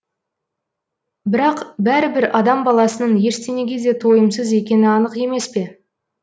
бірақ бәрібір адам баласының ештеңеге де тойымсыз екені анық емес пе